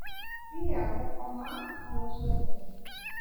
mbia gũhoma ngano cia tene